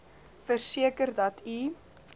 verseker dat u